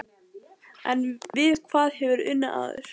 En við hvað hefurðu unnið áður?